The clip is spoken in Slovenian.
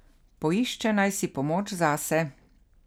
Poišče naj si pomoč zase.